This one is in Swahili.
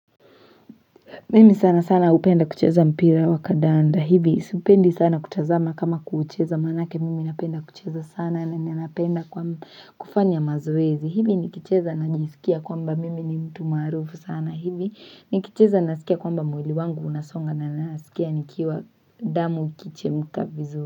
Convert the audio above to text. Mimi sana sana hupenda kucheza mpira wakandanda hivi supendi sana kutazama kama kuucheza maanake mimi napenda kucheza sana na ninapenda kwa kufanya mazoezi hivi nikicheza najiskia kwamba mimi ni mtu maarufu sana hivi nikicheza nasikia kwamba mwili wangu unasonga na nasikia nikiwa damu ikichemka vizuri.